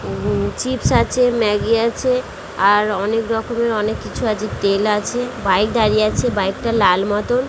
উম chips আছে Maggi আছে আর অনেক রকমের অনেক কিছু আছে তেল আছে বাইক দাঁড়িয়ে আছে বাইক টা লাল মতন --